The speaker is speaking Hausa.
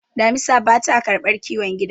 damisa ba ta karbar kiwon gida